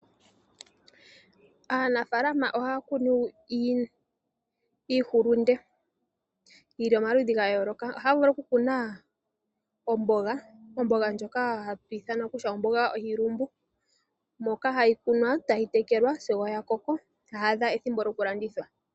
Aanafaalama ohaya kunu iihulunde yi li momaludhi ga yooloka. Ohaya vulu oku kuna omboga. Omboga ndjoka hatu ithana kutya omboga yiilumbu ndjoka hayi kunwa etayi tekelwa sigo ya koko etayi adha ethimbo lyoku landithwa.